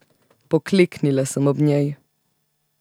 Pokleknila sem ob njej.